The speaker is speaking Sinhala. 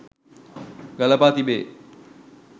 ගලපා තිබේ.